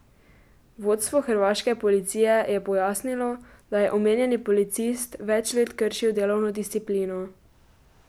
Vodstvo hrvaške policije je pojasnilo, da je omenjeni policist več let kršil delovno disciplino.